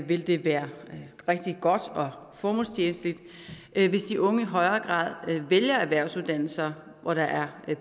vil det være rigtig godt og formålstjenligt hvis de unge i højere grad vælger erhvervsuddannelser hvor der er